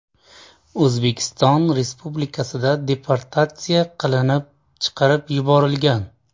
O‘zbekiston Respublikasidan deportatsiya qilinib, chiqarib yuborilgan.